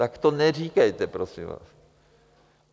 Tak to neříkejte, prosím vás.